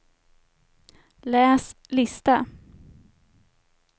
läs lista